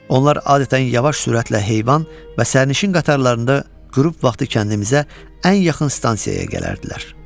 Onlar adətən yavaş sürətlə heyvan və sərnişin qatarlarında qrup vaxtı kəndimizə ən yaxın stansiyaya gəlirdilər.